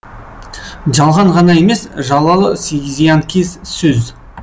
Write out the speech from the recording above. жалған ғана емес жалалы зиянкес сөз